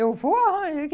Eu vou